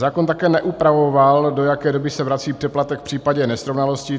Zákon také neupravoval, do jaké doby se vrací přeplatek v případě nesrovnalostí.